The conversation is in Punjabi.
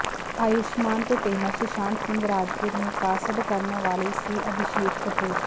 ਆਯੁਸ਼ਮਾਨ ਤੋਂ ਪਹਿਲਾਂ ਸੁਸ਼ਾਂਤ ਸਿੰਘ ਰਾਜਪੂਤ ਨੂੰ ਕਾਸਟ ਕਰਨ ਵਾਲੇ ਸੀ ਅਭਿਸ਼ੇਕ ਕਪੂਰ